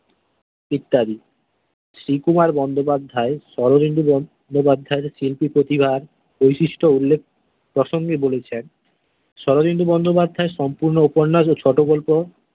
ইত্যাদি শ্রীকুমার বন্দ্যোপাধ্যায়, শরদিন্দু বন্দ্যোপাধ্যায় শিল্পী প্রতিভার বৈশিষ্ট্য উল্লেখ প্রসঙ্গে বলেছেন শরদিন্দু বন্দ্যোপাধ্যায় সম্পূর্ণ উপন্যাস ও ছোট গল্প।